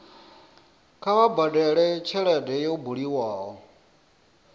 kha vha badele tshelede yo bulwaho